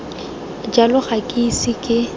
jalo ga ke ise ke